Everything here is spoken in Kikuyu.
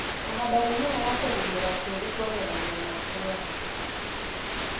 Kũhanda mĩmera ya kũhumbĩra tĩri kwagĩragia mwakĩre wa tĩri.